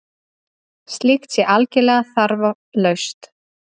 Slíkt sé algerlega þarflaust